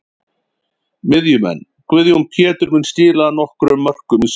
Miðjumenn: Guðjón Pétur mun skila nokkrum mörkum í sumar.